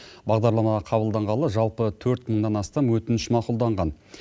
бағдарлама қабылданғалы жалпы төрт мыңнан астам өтініш мақұлданған